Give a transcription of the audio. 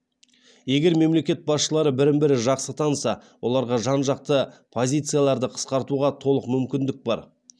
егер мемлекет басшылары бірін бірі жақсы таныса оларға жан жақты позицияларды қысқартуға толық мүмкіндік бар